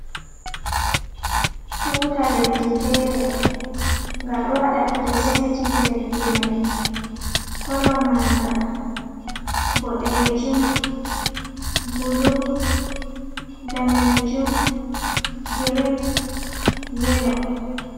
Tuta leɗɗi fere gaɗo waɗa prezenti leɗɗi mai, kolo maga ɓoɗejum, ɓulu .ɗanejum. girin, yelo.